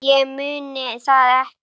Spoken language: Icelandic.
Einsog ég muni það ekki!